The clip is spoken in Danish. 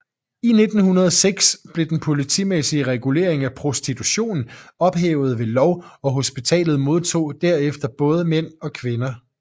I 1906 blev den politimæssige regulering af prostitution ophævet ved lov og hospitalet modtog derefter både mænd og kvinder